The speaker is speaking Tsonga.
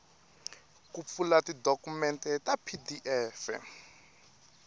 ku pfula tidokumende ta pdf